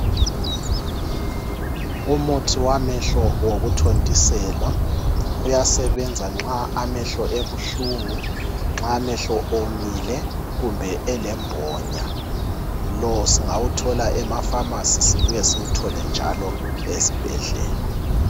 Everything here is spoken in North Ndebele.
Umuthi wamehlo wokuthontiselwa uyasebenza nxa emehlo ebuhlungu ,nxa amehlo omile kumbe elembonya. Lo singawuthola ema"pharmacy" sibuye njalo siwuthole ezibhedlela.